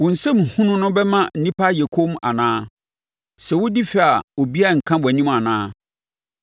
Wo nsɛm hunu no bɛma nnipa ayɛ komm anaa? Sɛ wodi fɛ a obiara renka wʼanim anaa?